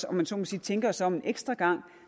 om jeg så må sige tænker os om en ekstra gang